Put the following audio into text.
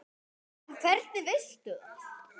En hvernig veistu það?